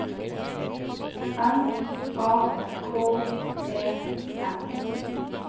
M A K E N